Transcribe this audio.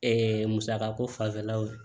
musaka ko fanfɛlaw ye